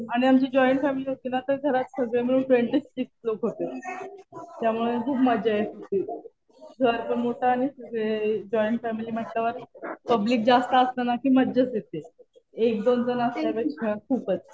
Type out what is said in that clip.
आणि आमची join family होती ना. तर घरात सगळे मिळून ट्वेन्टी सिक्स लोकं होते. त्यामुळे खूप मजा येतं होती. घर पण मोठं आणि जॉईन फॅमिली म्हणल्यावर पब्लिक जास्त असलं ना कि मजाच येते. एक दोन जणं असल्यापेक्षा खूपच.